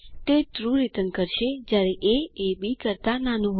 તે true return કરશે જયારે એ એ બી કરતા નાનું હોય